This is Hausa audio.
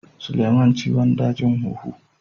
Suleman ciwon dajin huhu.